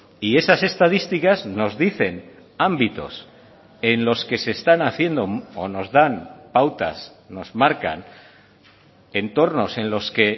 y esas estadísticas nos dicen ámbitos en los que se están haciendo o nos dan pautas nos marcan entornos en los que